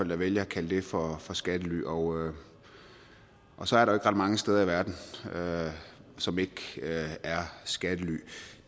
der vælger at kalde det for for skattely og og så er der ret mange steder i verden som ikke er skattely